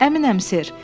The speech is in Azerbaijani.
Əminəm, ser.